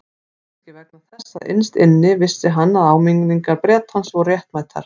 Kannski vegna þess að innst inni vissi hann að áminningar Bretans voru réttmætar.